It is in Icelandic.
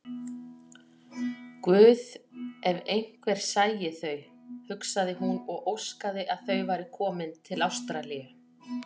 Guð, ef einhver sæi þau, hugsaði hún og óskaði að þau væru komin til Ástralíu.